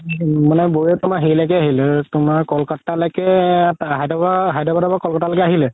মানে বৌয়ে তুমাৰ হেৰিলৈকে আহিল তুমাৰ ক'লকাতা লৈকে হায়দৰাবাদৰ পৰা ক'লকাতা লৈকে আহিলে